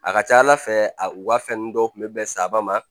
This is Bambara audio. A ka ca ala fɛ a u ka fɛn ninnu dɔw tun bɛ bɛn saba ma